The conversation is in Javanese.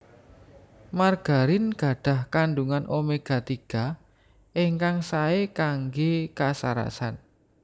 Margarin gadhah kandhungan omega tiga ingkang saé kanggé kasarasan